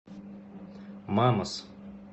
мамас